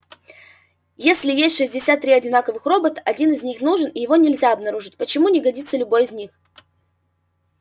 если есть шестьдесят три одинаковых робота один из них нужен и его нельзя обнаружить почему не годится любой из них